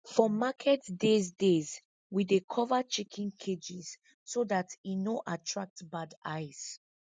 for market days days we dey cover chicken cages so dat e no attract bad eyes